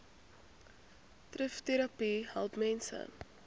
trvterapie help mense